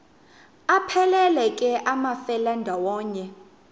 aphelela ke amafelandawonye